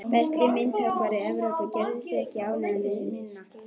Besti myndhöggvari Evrópu, gerðu þig ekki ánægða með minna.